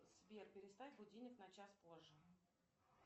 сбер переставь будильник на час позже